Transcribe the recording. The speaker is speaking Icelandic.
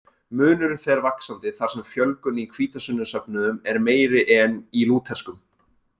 Munurinn fer vaxandi þar sem fjölgun í hvítasunnusöfnuðum er meiri en í lúterskum.